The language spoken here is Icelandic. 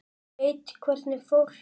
Veit hvernig fólk þetta er.